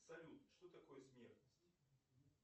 салют что такое смертность